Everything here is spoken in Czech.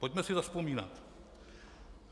Pojďme si zavzpomínat.